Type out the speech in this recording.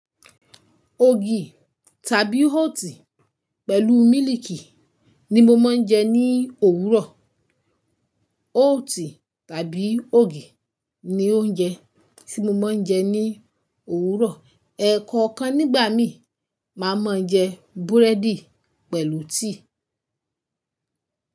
Ògì tàbí oat pẹ̀lú mílìkì ni mo máa ń jẹ ní òwúrọ̀. Oat tàbí ògì ni oúnjẹ tí mo máa ń jẹ ní òwúrọ̀. Ẹ̀ẹ̀kọ̀kan nígbà míì, màá mọ jẹ búrẹ́dì pẹ̀lú tea.